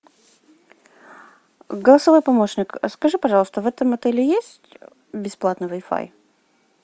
голосовой помощник скажи пожалуйста в этом отеле есть бесплатный вай фай